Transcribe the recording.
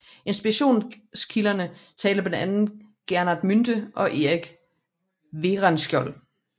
Inspirationskilderne talte blandt andet Gerhard Munthe og Erik Werenskiold